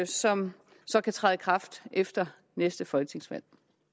som så kan træde i kraft efter næste folketingsvalg